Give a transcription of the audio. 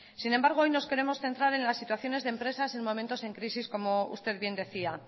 sin embargo hoy nos queremos centrar en las situaciones de empresas en momentos de crisis como usted bien decía